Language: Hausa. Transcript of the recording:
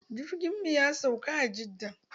Jirgin mu ya sauka a jidda.